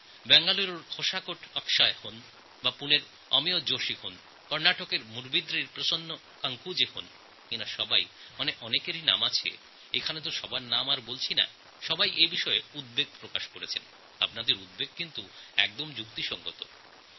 বেঙ্গালুরুর হোশাকোট থেকে অক্ষয় হন পুনের অমেয় জোশী হন বা কর্ণাটকের মুড়বিদ্রী থেকে প্রসন্না কাকুঞ্জে হন এঁরা সবাই এমন আরও আছেন যাঁদের নাম আমি বলিনি এই বিষয়ে চিন্তাভাবনা করেছেন এবং আপনাদের সবার চিন্তাই সঠিক